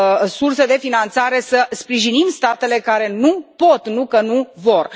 surse de finanțare să sprijinim statele care nu pot, nu că nu vor.